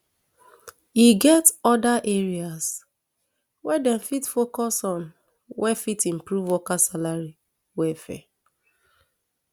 e get oda areas wey dem fit focus on wey fit improve worker salary welfare